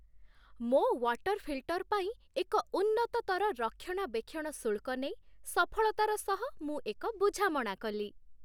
ମୋ water filter ପାଇଁ ଏକ ଉନ୍ନତତର ରକ୍ଷଣାବେକ୍ଷଣ ଶୁଳ୍କ ନେଇ ସଫଳତାର ସହ ମୁଁ ଏକ ବୁଝାମଣା କଲି।